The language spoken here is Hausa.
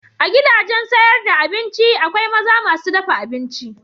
A gidajen sayar da abinci akwai maza masu dafa abinci.